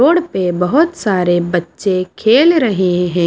Road पे बहुत सारे बच्चे खेल रहे हैं।